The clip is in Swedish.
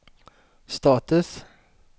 status